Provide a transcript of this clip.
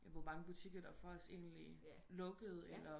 Ja hvor mange butikker der faktisk endeligt lukkede